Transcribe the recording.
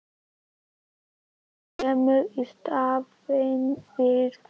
Ekkert kemur í staðinn fyrir þá.